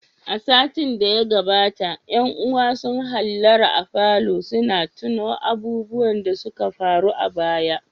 A satin da ya gabata ƴan uwa sun hallara a falon suna tuno abubuwan da suka faru a baya.